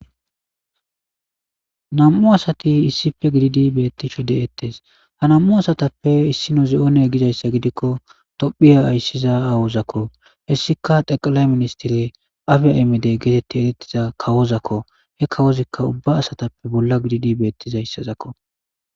nam7u asati issife gididi beettishu deettes ha nam7u asatappe issino zi7oone gizayssa gidikko tophiya ayssiza awozakko hessika deqalay ministire afea imidey geetetti erettiza kawozakko he kawozikka ubba asatappe bolla gididi bettizayssazakko